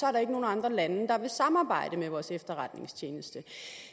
er der ingen andre lande der vil samarbejde med vores efterretningstjeneste